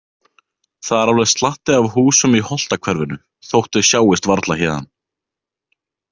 Það er alveg slatti af húsum í Holtahverfinu þótt þau sjáist varla héðan.